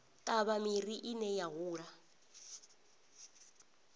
ṱavha miri ine ya hula